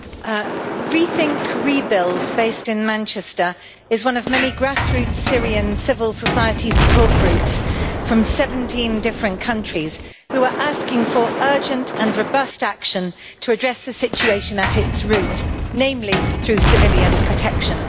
Mr President, Rethink Rebuild based in Manchester is one of many grassroots Syrian civil society support groups from 17 different countries who are asking for urgent and robust action to address the situation at its root, namely through civilian protection.